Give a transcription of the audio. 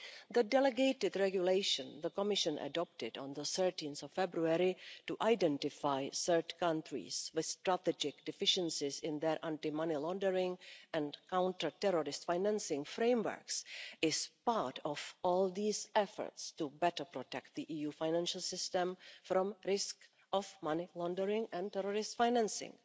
The delegated regulation the Commission adopted on 13 February to identify third countries with strategic deficiencies in their anti-money laundering and counter-terrorist-financing frameworks is part of all these efforts to better protect the EU financial system from the risk of money laundering and terrorist financing.